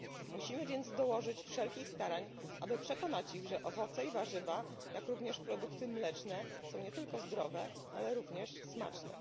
Musimy więc dołożyć wszelkich starań, aby przekonać ich, że owoce i warzywa, jak również produkty mleczne, są nie tylko zdrowie ale również smaczne.